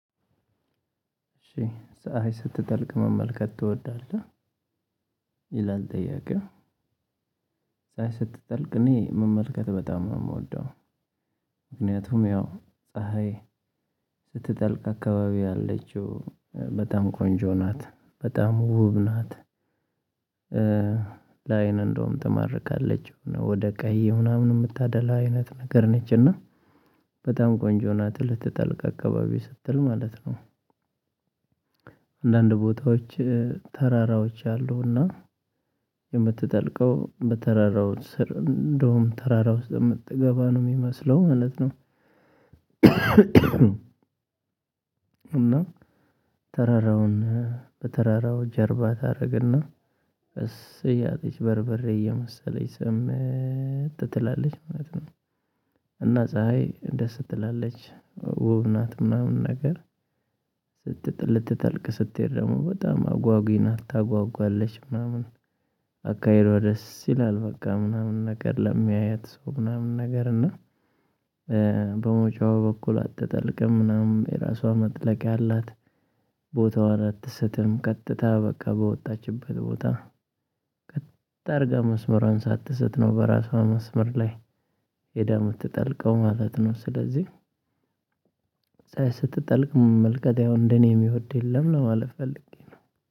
እሽ ስትጠልቅ መመልከት ትወዳለህ? ይላል ጥያቄው ፀሀይ ስትጠልቅ እኔ መመልከት በጣም ነው የምወደው። ምክንያቱም ያው ፀሀይ ስትጠልቅ አካባቢ ያለችው በጣም ቆንጆ ናት በጣም ውብ ናት። ለአይን እንደውም ትማርካለች ወደ ቀይ ምናምን የምታደላ አይነት ነገር ነች እና በጣም ቆንጆ ናት ልትጠልቅ አካባቢ ስትል ማለት ነው። አንዳንድ ቦታዎች ተራራዎች አሉና የምትጠልቀው በተራራው ስር እንደውም ተራራው ውስጥ የምትገባ ነው የሚመስለው እውነት ነው። እና ተራራውን በተራራው ጀርባ ታደርግና ቀስ እያለች በርብሬ እየመሰለች ስምጥ ትላለች ማለት ነው። እና ፀሀይ ደስ ትላለች ውብ ናት ምናምን ነገር። ልትጠልቅ ስትሄድ ደግሞ በጣም አጓጊ ናት ታጓጓለች ምናምን አካሄዷ ደስ ይላል በቃ ምናምን ነገር ለሚያያት ሰው ምናምን ነገር እና። በመውጫዋ በኩል አትጠልቅም ምናምን የራሷ መጥለቂያ አላት። ቦታዋን አትስትም ቀጥታ በቃ በወጣችበት ቦታ። ቀጠ አድርጋ መስመሯን ሳትስት ነው በራሷ መስመር ላይ ሄዳ የምትጠልቀው ማለት ነው። ስለዚህ ስትጠልቅ መመልከት ያው እንደኔ የሚወድ የለም ነው ለማለት ፈልጌ ነው።